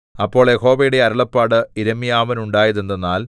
അപ്പോൾ യഹോവയുടെ അരുളപ്പാട് യിരെമ്യാവിനുണ്ടായതെന്തെന്നാൽ